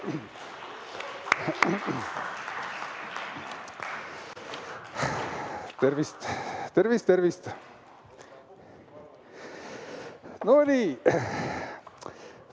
Tervist, tervist, tervist!